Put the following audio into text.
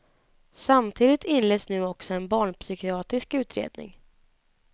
Samtidigt inleds nu också en barnpsykiatrisk utredning.